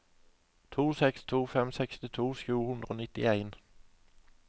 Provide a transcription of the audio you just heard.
to seks to fem sekstito sju hundre og nittien